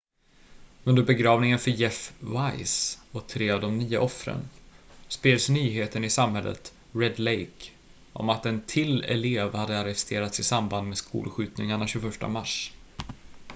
under begravningen för jeff weise och tre av de nio offren spreds nyheten i samhället red lake om att en till elev hade arresterats i samband med skolskjutningarna 21 mars